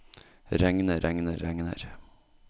regner regner regner